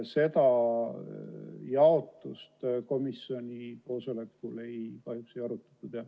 Seda jaotust komisjoni koosolekul kahjuks ei arutatud.